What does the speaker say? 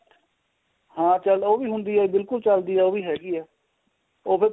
ਹਾਂ ਚੱਲ ਉਹ ਵੀ ਹੁੰਦੀ ਏ ਬਿਲਕੁਲ ਚੱਲਦੀ ਏ ਉਹ ਵੀ ਹੈਗੀ ਏ ਉਹ ਫੇਰ